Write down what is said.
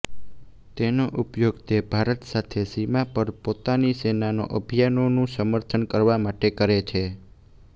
તેનો ઉપયોગ તે ભારત સાથે સીમા પર પોતાની સેનાના અભિયાનોનું સમર્થન કરવા માટે કરે છે